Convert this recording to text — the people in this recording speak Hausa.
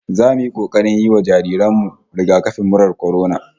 Zamu yi kokarin yi wa jaririn mu rigakafin murar kwarona